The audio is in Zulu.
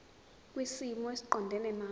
kwisimo esiqondena nawe